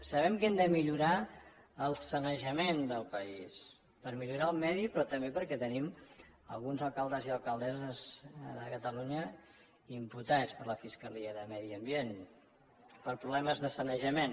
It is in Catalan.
sabem que hem de millorar el sanejament del país per millorar el medi però també perquè tenim alguns alcaldes i alcaldesses de catalunya imputats per la fiscalia de medi ambient per problemes de sanejament